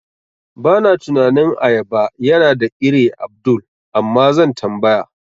Bana tunanin ayaba yana da ire Abdul, Amma zan tambaya.